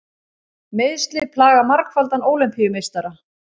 Meiðsli plaga margfaldan Ólympíumeistara